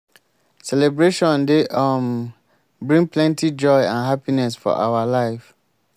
celebration dey um bring plenty joy and happiness for our life.